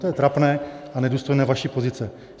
To je trapné a nedůstojné vaší pozice.